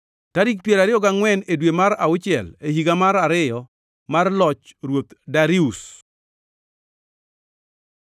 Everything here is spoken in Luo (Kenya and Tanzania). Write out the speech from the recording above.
tarik piero ariyo gangʼwen e dwe mar auchiel e higa mar ariyo mar loch Ruoth Darius.